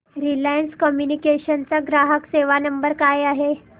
Reliance Communications चा ग्राहक सेवा नंबर काय आहे